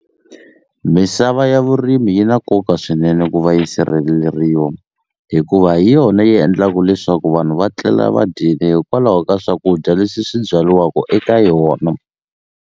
Misava ya vurimi yi na nkoka swinene ku va yi sirheleriwa hikuva hi yona yi endlaku leswaku vanhu va tlela va dyile hikwalaho ka swakudya leswi swi byariwaku eka yona.